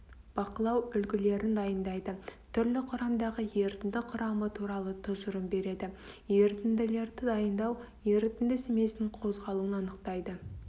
бақылау үлгілерін дайындайды түрлі құрамдағы ерітінді құрамы туралы тұжырым береді ерітінділерді дайындау ерітінді смесінің қозғалуын анықтайды